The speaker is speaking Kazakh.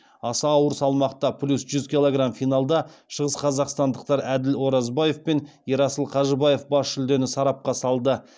аса ауыр салмақта финалда шығысқазақстандықтар әділ оразбаев пен ерасыл қажыбаев бас жүлдені сарапқа салды